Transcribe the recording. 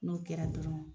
N'o kɛra dɔrɔn